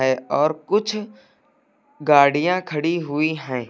ऐ और कुछ गाड़ियां खड़ी हुई है।